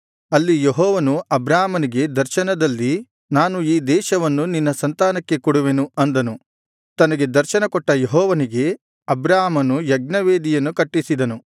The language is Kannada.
ಅಲ್ಲಿ ಯೆಹೋವನು ಅಬ್ರಾಮನಿಗೆ ದರ್ಶನದಲ್ಲಿ ನಾನು ಈ ದೇಶವನ್ನು ನಿನ್ನ ಸಂತಾನಕ್ಕೆ ಕೊಡುವೆನು ಅಂದನು ತನಗೆ ದರ್ಶನಕೊಟ್ಟ ಯೆಹೋವನಿಗೆ ಅಬ್ರಾಮನು ಯಜ್ಞವೇದಿಯನ್ನು ಕಟ್ಟಿಸಿದನು